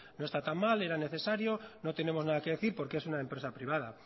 no está tan mal era necesario no tenemos nada que decir porque es una empresa privada